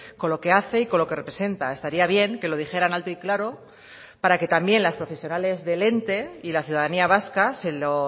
con lo que hace y con lo que representa estaría bien que lo dijeran alto y claro para que también las profesionales del ente y la ciudadanía vasca se lo